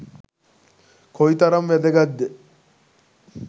කොයිතරම් වැදගත්ද?